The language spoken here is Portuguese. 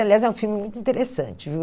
Aliás, é um filme muito interessante viu.